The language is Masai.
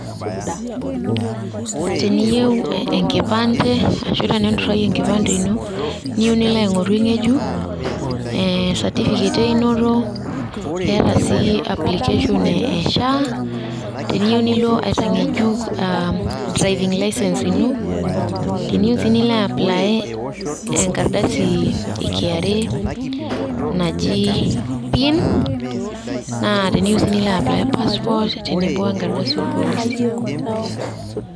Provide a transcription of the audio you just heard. teniyieu enkipande ashu teninturayie enkipande ino niyieu nilo aing'oru eng'ejuk, ee certificate einoto, keeta sii application e SHAA ,teniyieu nilo aitang'ejuk driving licence ino, teniyieu sii nilo apply enkardasi e KRA ,,naji PIN, naa teniyieu sii nilo apply passport tenebo enkardasi oorpolisi.